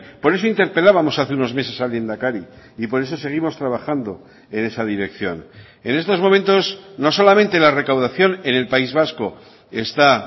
por eso interpelábamos hace unos meses al lehendakari y por eso seguimos trabajando en esa dirección en estos momentos no solamente la recaudación en el país vasco está